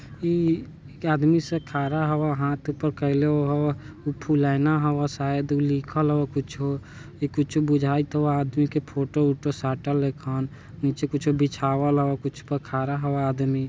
इ एक आदमी से खरा खड़ा हवय हाथ ऊपर कइले हवय फुलैना हवय सायद कुछौ लिखल हावय कुछौ-कुछौ बुझाई तो आदमी के फोटो - वोटो है खान नीचे कुछ बिछावल है कुछ पे खरा है आदमी|